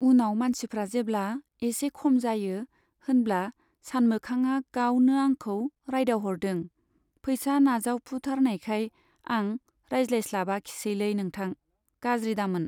उनाव मानसिफ्रा जेब्ला एसे खम जायो होनब्ला सानमोखांआ गावनो आंखौ रायदावहरदों पैसा नाजावफुथारनायखाय आं रायज्लायस्लाबाखिसैलै नोंथां , गाज्रि दामोन।